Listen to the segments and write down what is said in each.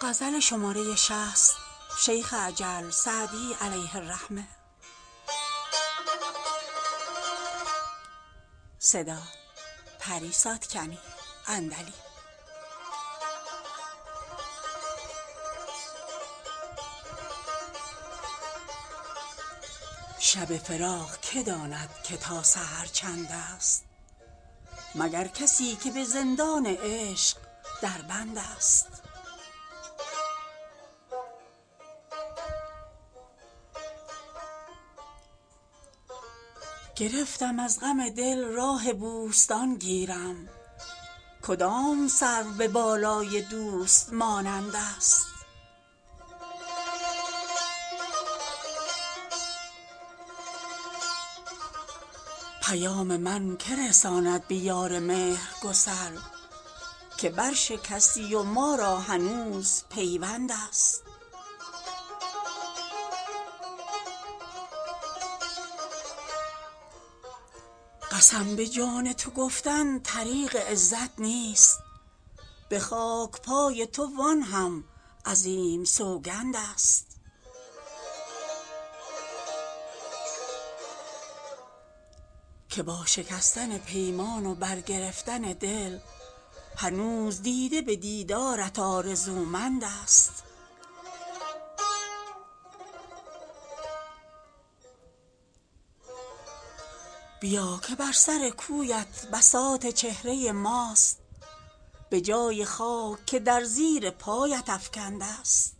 شب فراق که داند که تا سحر چندست مگر کسی که به زندان عشق در بندست گرفتم از غم دل راه بوستان گیرم کدام سرو به بالای دوست مانندست پیام من که رساند به یار مهرگسل که برشکستی و ما را هنوز پیوندست قسم به جان تو گفتن طریق عزت نیست به خاک پای تو وآن هم عظیم سوگندست که با شکستن پیمان و برگرفتن دل هنوز دیده به دیدارت آرزومندست بیا که بر سر کویت بساط چهره ماست به جای خاک که در زیر پایت افکندست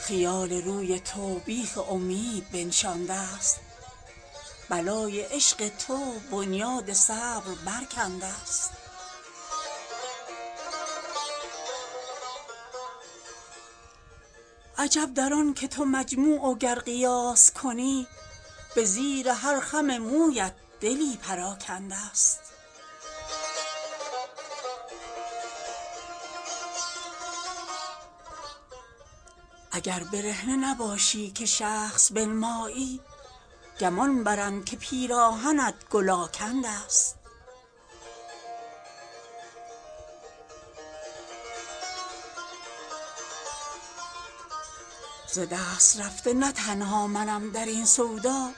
خیال روی تو بیخ امید بنشاندست بلای عشق تو بنیاد صبر برکندست عجب در آن که تو مجموع و گر قیاس کنی به زیر هر خم مویت دلی پراکندست اگر برهنه نباشی که شخص بنمایی گمان برند که پیراهنت گل آکندست ز دست رفته نه تنها منم در این سودا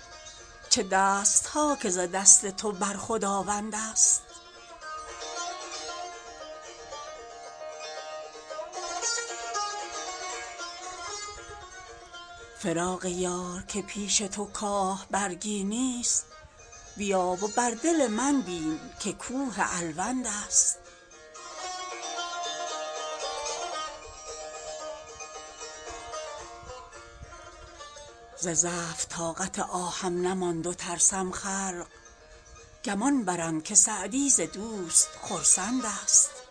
چه دست ها که ز دست تو بر خداوندست فراق یار که پیش تو کاه برگی نیست بیا و بر دل من بین که کوه الوندست ز ضعف طاقت آهم نماند و ترسم خلق گمان برند که سعدی ز دوست خرسندست